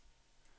e-post